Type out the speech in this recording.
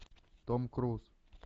том круз